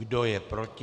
Kdo je proti?